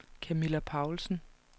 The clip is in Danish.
Camilla Paulsen